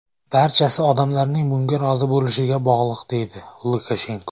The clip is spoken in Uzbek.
Barchasi odamlarning bunga rozi bo‘lishiga bog‘liq”, deydi Lukashenko.